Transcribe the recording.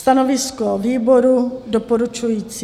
Stanovisko výboru doporučující.